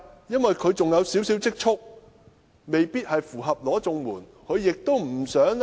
因為他們仍有少許積蓄，未必符合領取綜援的資格。